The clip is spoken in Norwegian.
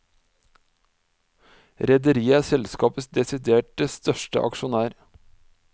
Rederiet er selskapets desiderte største aksjonær.